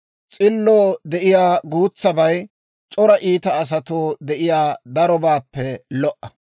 S'illoo de'iyaa guutsabay c'ora iita asatoo de'iyaa darobaappe lo"a.